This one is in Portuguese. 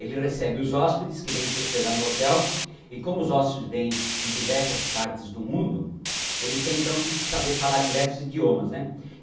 Ele recebe os hóspedes que vêm se hospedar no hotel, e como os hóspedes vêm de diversas partes do mundo, ele tem então que saber falar diversos idiomas né.